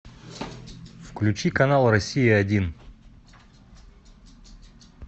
включи канал россия один